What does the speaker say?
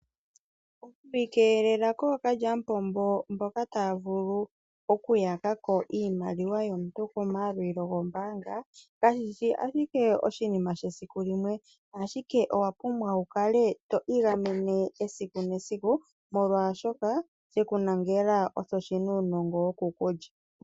Oku ikeelela kookalyamupombo mboka taya vulu okuyakako iimaliwa yomuntu komayalulo gombaanga kashishi ashike oshinima shesiku limwe ,ashike owapumbwa wukale to igamene esiku nesiku molwaashoka shekulangela osho shina uunongo wokukulya.